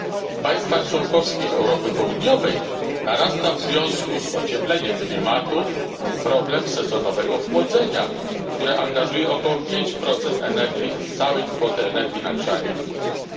W państwach członkowskich Europy Południowej narasta w związku z ociepleniem klimatu problem sezonowego chłodzenia, które angażuje około 5 energii z całej kwoty energii na grzanie i chłodzenie.